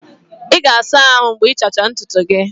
Ị ga-asa ahụ mgbe ịchacha ntutu gị.